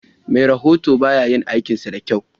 Me rahoton bayayin aikinsa dakyau.